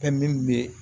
Fɛn min bɛ